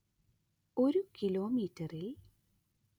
ഒരു കിലോമീറ്ററിൽ